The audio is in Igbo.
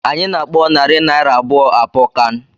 Anyị na-akpọ narị naira abụọ àpọ kán